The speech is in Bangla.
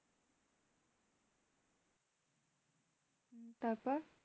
তারপর